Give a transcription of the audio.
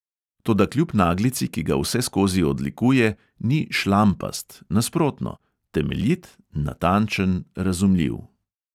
Toda kljub naglici, ki ga vseskozi odlikuje, ni "šlampast", nasprotno: temeljit, natančen, razumljiv.